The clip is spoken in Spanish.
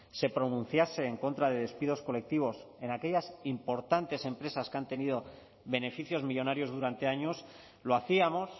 se pronunciase en contra de despidos colectivos en aquellas importantes empresas que han tenido beneficios millónarios durante años lo hacíamos